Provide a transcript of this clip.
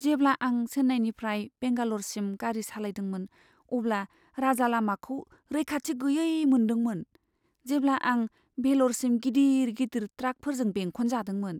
जेब्ला आं चेन्नाईनिफ्राय बेंगाल'रसिम गारि सालायदोंमोन, अब्ला राजालामाखौ रैखाथि गैयै मोनदोंमोन, जेब्ला आं भेल'रसिम गिदिर गिदिर ट्राकफोरजों बेंखन जादोंमोन।